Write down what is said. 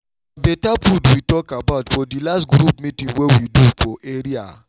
na better food we talk about for the last group meeting wey wey we do for area